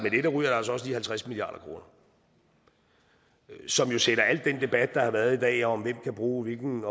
også lige halvtreds milliard kr som jo sætter al den debat der har været i dag om hvem kan bruge hvilken